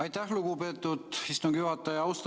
Aitäh, lugupeetud istungi juhataja!